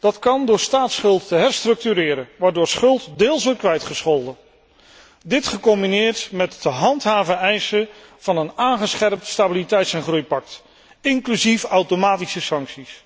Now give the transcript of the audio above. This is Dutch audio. Dat kan door staatsschuld te herstructureren, waardoor schuld deels wordt kwijtgescholden. Dit gecombineerd met te handhaven eisen van een aangescherpt stabiliteits en groeipact, inclusief automatische sancties.